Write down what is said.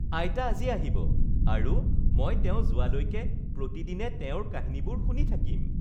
আইতা আজি আহিব আৰু মই তেওঁ যোৱালৈকে প্ৰতিদিনে তেওঁৰ কাহিনীবোৰ শুনি থাকিম